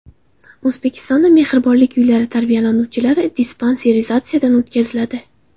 O‘zbekistonda mehribonlik uylari tarbiyalanuvchilari dispanserizatsiyadan o‘tkaziladi.